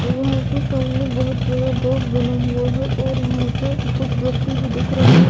यहाँ पर सामने बहुत बड़ा गेट बने हुए है और वहाँ पर कुछ व्यक्तिभी देख रहा हैं।